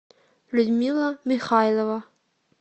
людмила михайлова